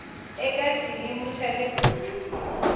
eka xiyimo xa le kusuhi